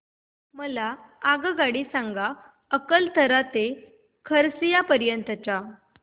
मला आगगाडी सांगा अकलतरा ते खरसिया पर्यंत च्या